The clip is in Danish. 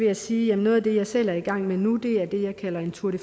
jeg sige at noget af det jeg selv er i gang med nu er det jeg kalder en tour de